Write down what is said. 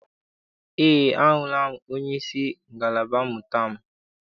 Eé, ahụla m onyeisi ngalaba mmụta m.